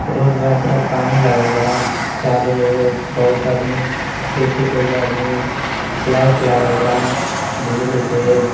road बा पूरा पानी लागल बा| चारू ओर बहुत आदमी खेती कइल बा आदमी लाइट लागल बा बिजली के|